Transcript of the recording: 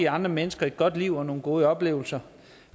give andre mennesker et godt liv og nogle gode oplevelser